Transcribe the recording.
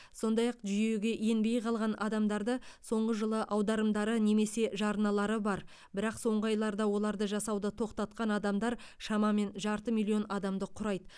сондай ақ жүйеге енбей қалған адамдарды соңғы жылы аударымдары немесе жарналары бар бірақ соңғы айларда оларды жасауды тоқтатқан адамдар шамамен жарты миллион адамды құрайды